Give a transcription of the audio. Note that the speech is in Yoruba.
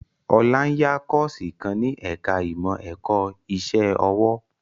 Ọlá ń yá Kọ́ọ̀sì kan ní ẹ̀ka ìmọ̀ ẹ̀kọ́ iṣẹ́ ọwọ́